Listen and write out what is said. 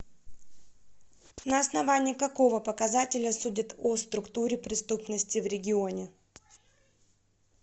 на основании какого показателя судят о структуре преступности в регионе